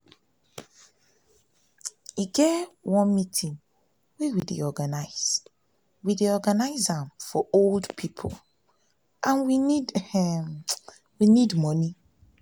e get one meeting we dey organize dey organize for old people and we need um money um